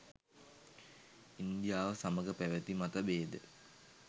ඉන්දියාව සමග පැවැති මතභේද